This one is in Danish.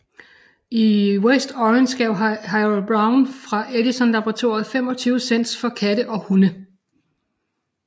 I West Orange gav Harold Brown fra Edisons laboratorium 25 cent for katte og hunde